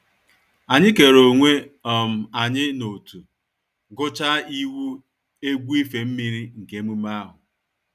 Anyị kere onwe um anyị n’ọ̀tụ̀, gụchaa iwu egwu ife mmiri nke emume ahụ